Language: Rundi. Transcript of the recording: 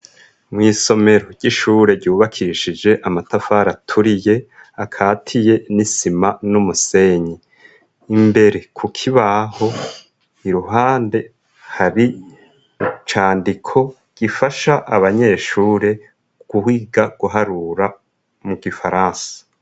Mw'isomero ry'ishure ryubakishije amatafari aturiye akatiye n'isima n'umusenyi imbere ku k ibaho i ruhande hari candiko gifasha abanyeshure guhwiga guharura mu gifaransa.